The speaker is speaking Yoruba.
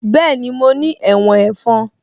Bẹ́ẹ̀ni mo ní ẹ̀wọ̀n ẹ̀fọn